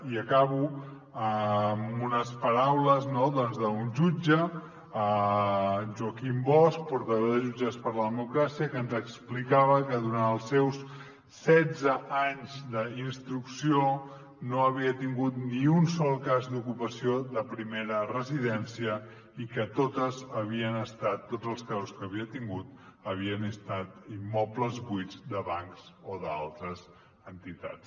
i acabo amb unes paraules d’un jutge joaquim bosch portaveu de jutges per la democràcia que ens explicava que durant els seus setze anys d’instrucció no havia tingut ni un sol cas d’ocupació de primera residència i que tots els casos que havia tingut havien estat immobles buits de bancs o d’altres entitats